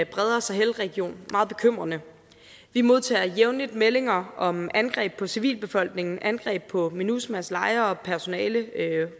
bredere sahel region meget bekymrende vi modtager jævnligt meldinger om angreb på civilbefolkningen angreb på minusma s lejre og personale